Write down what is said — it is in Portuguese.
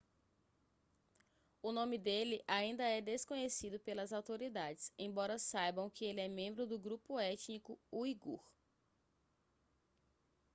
o nome dele ainda é desconhecido pelas autoridades embora saibam que ele é membro do grupo étnico uigur